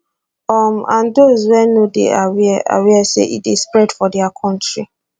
um and those wey no dey aware aware say e dey spread for dia kontri